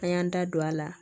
An y'an da don a la